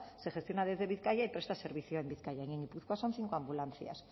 se gestiona desde bizkaia y presta servicio en bizkaia y en gipuzkoa son cinco ambulancias